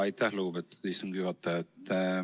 Aitäh, lugupeetud istungi juhataja!